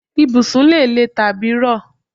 Ibùsùn lè lè tàbí rọ